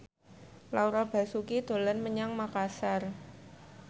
Laura Basuki dolan menyang Makasar